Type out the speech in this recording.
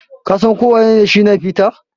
Ka San ko wanene Shina peter?